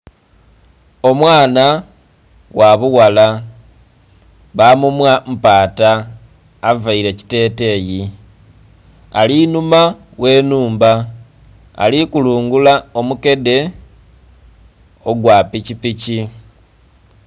Omwana wabughala bamumwa mpata avaire ekiteteyi alinhuma gh'enhumba alikulungula omukedhe ogwapikipiki.